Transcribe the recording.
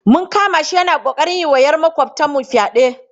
Mun kama shi yana ƙoƙarin yi wa ‘yar makwabtanmu fyade.